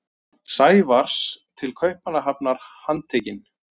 Sævars til Kaupmannahafnar handtekinn.